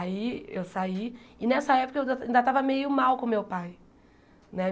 Aí eu saí, e nessa época eu ainda tava meio mal com meu pai né.